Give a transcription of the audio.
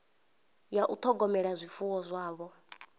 ya u ṱhogomela zwifuwo zwavho